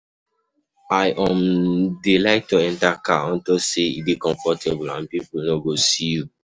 I um dey um like to enter car unto say e dey comfortable um and people no go see you.